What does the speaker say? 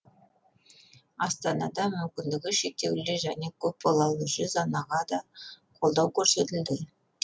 астанада мүмкіндігі шектеулі және көпбалалы жүз анаға да қолдау көрсетілді